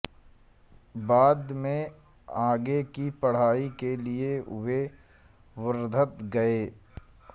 बाद में आगे की पढ़ाई के लिए वे वर्धा गये